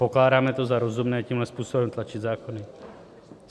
Pokládáme to za rozumné tímhle způsobem tlačit zákony?